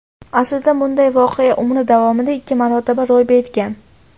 Aslida bunday voqea umri davomida ikki marotaba ro‘y bergan.